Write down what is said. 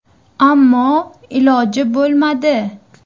Ammo iloji bo‘lmadi.